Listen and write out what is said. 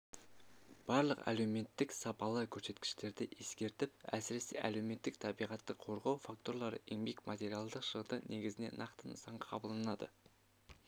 барлық әлеуметтік сапалы көрсеткіштерді ескертіп әсіресе әлеуметтік табиғатты қорғау факторлары еңбек материалдық шығындар негізінде нақты нысанға қабылданады